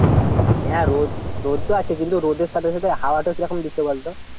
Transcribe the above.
হ্যাঁ রোদ রোদ তো আছে কিন্তু রোদের সাথে সাথে হাওয়াটা কিরকম দিচ্ছে বলতো?